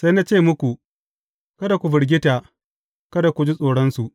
Sai na ce muku, Kada ku firgita; kada ku ji tsoronsu.